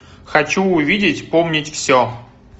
хочу увидеть помнить все